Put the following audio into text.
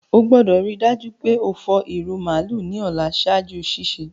O gbọ́dọ̀ rii dájú pe o fọ ìrù màálù ni ọ̀la ṣaaju sísẹ̀.